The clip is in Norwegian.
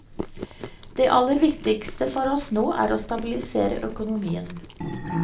Det aller viktigste for oss nå er å stabilisere økonomien.